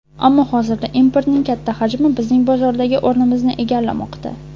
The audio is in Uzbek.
Ammo hozirda importning katta hajmi bizning bozordagi o‘rnimizni egallamoqda.